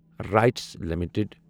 rights limited